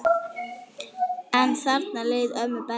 En þarna leið ömmu best.